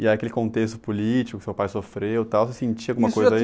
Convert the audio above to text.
E aquele contexto político que seu pai sofreu, tal, você sentia alguma coisa aí?